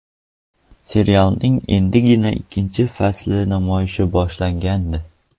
Serialning endigina ikkinchi fasli namoyishi boshlangandi.